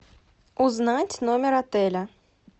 узнать номер отеля